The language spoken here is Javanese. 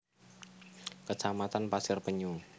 Kecamatan Pasir Penyu